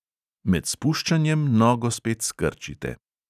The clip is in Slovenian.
Med spuščanjem nogo spet skrčite.